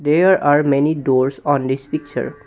There are many doors on this picture.